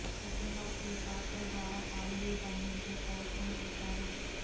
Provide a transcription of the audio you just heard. second half ఈ పాత్ర ద్వారా కామెడీ పండించే ప్రయత్నం చేశారు